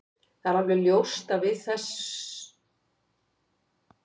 Það er alveg ljóst að við ætlum að afsanna þessa spá, það er engin spurning.